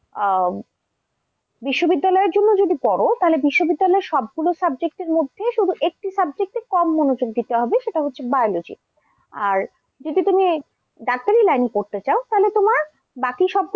আহ বিশ্ববিদ্যালয়ের জন্য যদি পড়ো তাহলে বিশ্ববিদ্যালয়ের সবগুলো subject এর মধ্যে শুধু একটু subject এ কম মনোযোগ দিতে হবে সেটা হচ্ছে biology আর যদি তুমি ডাক্তারি line এ পড়তে চাও তাহলে তোমার বাকি সবগুলো,